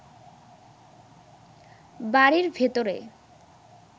বাড়ির ভেতরে